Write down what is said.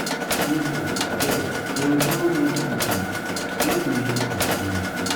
nebor abeg borrowborrow no too good make we know our limit